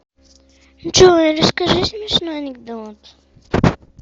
джой расскажи смешной анекдот